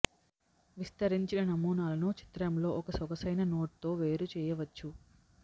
విస్తరించిన నమూనాలను చిత్రం లో ఒక సొగసైన నోట్ తో వేరు చేయవచ్చు